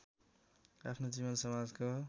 आफ्नो जीवन समाजको